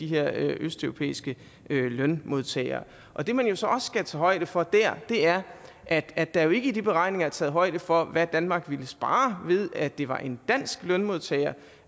her østeuropæiske lønmodtagere og det man jo så også skal tage højde for der er at at der jo ikke i de beregninger er taget højde for hvad danmark ville spare ved at det var en dansk lønmodtager